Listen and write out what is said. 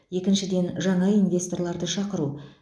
екіншіден жаңа инвесторларды шақыру